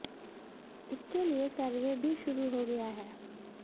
इसके लिए सर्वे भी शुरू हो गया है